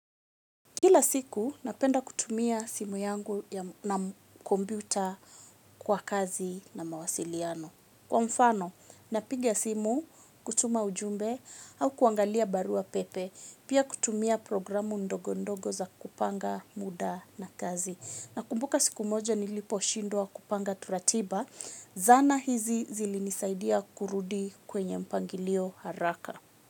Kila siku, napenda kutumia simu yangu na kombuta kwa kazi na mawasiliano. Kwa mfano, napiga simu, kutuma ujumbe au kuangalia barua pepe, pia kutumia programu ndogo ndogo za kupanga muda na kazi. Nakumbuka siku moja nilipo shindwa kupanga turatiba, zana hizi zilinisaidia kurudi kwenye mpangilio haraka.